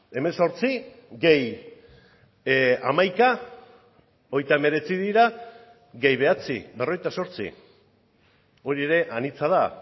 hemezortzi gehi hamaika hogeita hemeretzi dira gehi bederatzi berrogeita zortzi hori ere anitza da